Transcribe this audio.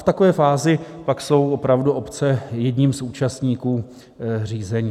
V takové fázi pak jsou opravdu obce jedním z účastníků řízení.